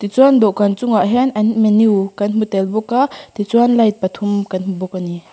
chuan dawhkan chungah hian an menu kan hmu tel bawk a ti chuan light pathum kan hmu bawk a ni.